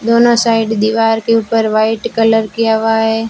दोनों साइड दीवार के ऊपर व्हाइट कलर किया हुआ है।